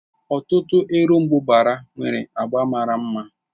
Ọtụtụ erombubara nwere agba mara mma.